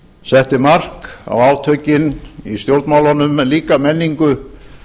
setti mark á átökin í stjórnmálunum en líka menningu